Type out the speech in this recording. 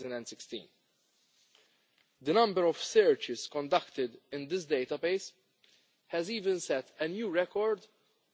2016. The number of searches conducted in this database even set a new record